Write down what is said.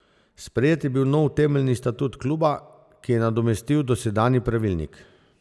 Sprejet je bil nov temeljni statut kluba, ki je nadomestil dosedanji pravilnik.